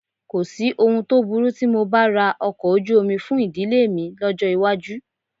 Kò sí ohun tó burú tí mo bá ra ọkọ̀ ojú omi fún ìdílé mi lọ́jọ́ iwájú